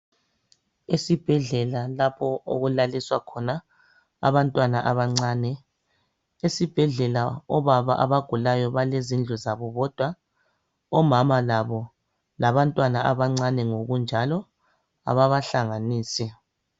Esibhedlela lapho okulaliswa khona abantwana abancane. Esibhedlela obaba abagulayo balezindlu zabo bodwa .Omama labo labantwana abancane ngokunjalo ababahlanganisi.